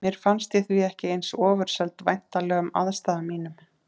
Mér fannst ég því ekki eins ofurseld væntanlegum aðstæðum mínum.